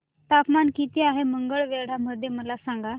तापमान किती आहे मंगळवेढा मध्ये मला सांगा